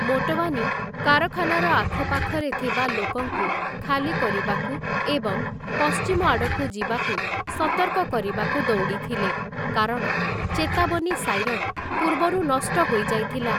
ମୋଟୱାନି କାରଖାନାର ଆଖପାଖରେ ଥିବା ଲୋକଙ୍କୁ ଖାଲି କରିବାକୁ ଏବଂ ପଶ୍ଚିମଆଡ଼କୁ ଯିବାକୁ ସତର୍କ କରିବାକୁ ଦୌଡ଼ିଥିଲେ, କାରଣ ଚେତାବନୀ ସାଇରନ୍ ପୂର୍ବରୁ ନଷ୍ଟ ହୋଇଯାଇଥିଲା ।